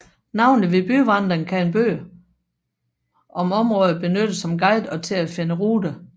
Navnlig ved byvandring kan en bøger om området benyttes som guide og til at finde ruter